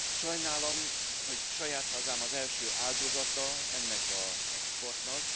Sajnálom, hogy saját hazám az első áldozata ennek az exportnak.